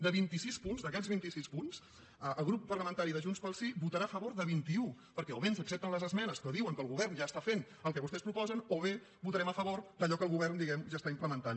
de vint i sis punts d’aquests vinti sis punts el grup parlamentari de junts pel sí votarà a favor de vint i un perquè o bé ens accepten les esmenes que diuen que el govern ja està fent el que vostès proposen o bé votarem a favor d’allò que el govern diguem ne ja està implementant